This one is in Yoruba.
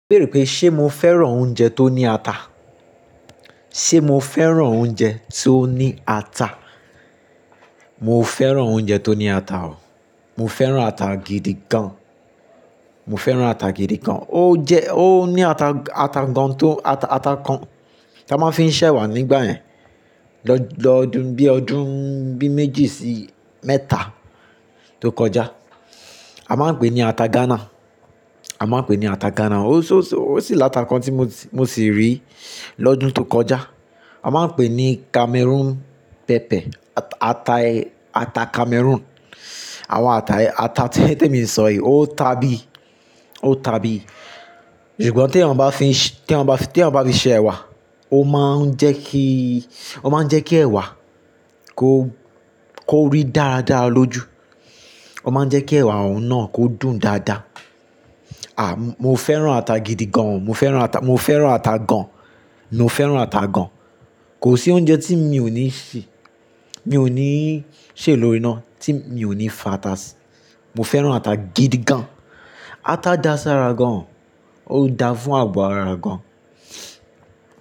Bẹ̀reẹ̀ pé ṣé mo fẹ́ràn oúnjẹ tó ní ata? Ṣé mo fẹ́ràn oúnjẹ tó ní ata? Mo fẹ́ràn oúnjẹ tó ní ata o. Mo fẹ́ràn ata gidi gan. Mo fẹ́ràn ata gidi gan. Ó jẹ, ó ní ata, ata gan tó, ata, ata kan tí a máa ń fi ń sè ẹwà nígbà yẹn. Lọ ọdún bí ọdún bí méjì sí mẹ́ta tó kọjá. A máa ń pè ní ata Ghana. A máa ń pè ní ata Ghana. Ó sì, ó sì láta kan tí mo sì rí lọ́dún tó kọjá. A máa ń pè ní Cameroon pepper, ata, ata Cameroon. Àwọn ata yìí, ata tí, tí èmi ń sọ yìí, ó ta bí, ó ta bí. Ṣùgbọ́n tí eeyan bá fi ń, tí wọ́n bá fi, tí wọ́n bá fi ṣe ẹwà, ó máa ń jẹ́ kí, ó máa ń jẹ́ kí ẹwà kó, kó rí dára dára lójú. Ó máa ń jẹ́ kí ẹwà òun náà kó dùn dáadáa. Mo fẹ́ràn ata gidi gan. Mo fẹ́ràn ata, mo fẹ́ràn ata gan. Mo fẹ́ràn ata gan. Kò sí oúnjẹ tí mi ò ní ṣè, mi ò ní ṣè lórí iná tí mi ò ní fa ata sí. Mo fẹ́ràn ata gidi gan. Ata da sí ara gan. Ó da fún àgo ara gan.